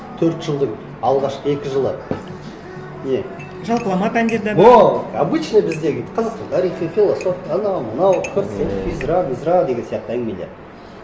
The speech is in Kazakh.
төрт жылдың алғашқы екі жылы не жалпылама пәндер де бар о обычный біздегі қазақстан тарихы философия анау мынау физра мизра деген сияқты әңгімелер